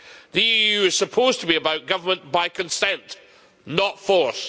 The EU is supposed to be about government by consent, not force.